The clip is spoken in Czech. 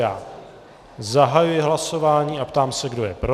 Já zahajuji hlasování a ptám se, kdo je pro.